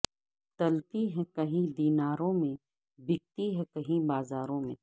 تلتی ہے کہیں دیناروں میں بکتی ہیں کہیں بازاروں میں